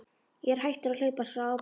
Ég er hættur að hlaupast frá ábyrgð.